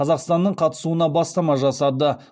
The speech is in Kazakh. қазақстанның қатысуына бастама жасады